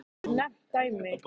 Þorbjörn: Geturðu nefnt dæmi?